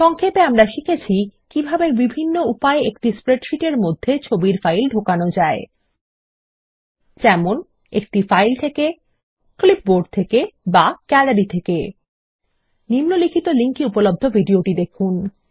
সংক্ষেপে আমরা শিখেছি কিভাবে বিভিন্ন উপায়ে একটি স্প্রেডশীট মধ্যে ছবির ফাইল ঢোকানো যায় যেমন একটি ফাইল থেকে ক্লিপবোর্ড থেকে বা গ্যালারি থেকে নিম্নলিখিত লিঙ্ক এ উপলব্ধ ভিডিওটি দেখুন